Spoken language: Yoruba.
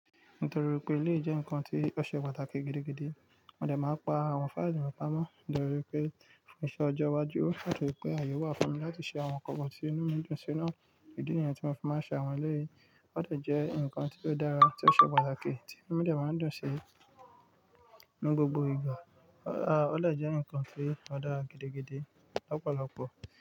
Nítorí pé eléyìí je ńkan tí ó ṣe pàtàkì gidigidi, mọ́ dẹ máa ń pa àwọn fáìlì mí pápá mọ́ nítorí pé fún iṣẹ́ ọjọ́ iwájú. Ó ṣà túrí pé àyè wà fún mi láti ṣe àwọn nnkan kan tí inú mi dùn sí ná. Ìdí nìyẹn tí mo fi máa ń ṣe àwọn eleyìí. Ó dọ̀ jẹ́ ǹkan tí ó dára tí ó ṣe pàtàkì tí ó jẹ máa ń dùn sí inú gbogbo ìgbà. Ó dè jẹ́ ǹkan tí ó dára gidigidi lọ́pọ̀lọpọ̀